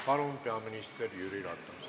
Palun, peaminister Jüri Ratas!